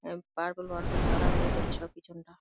উম purple purple colour হয়ে গেছে সব পিছনটা।